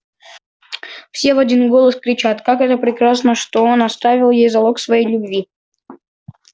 все в один голос кричат как это прекрасно что он оставил ей залог своей любви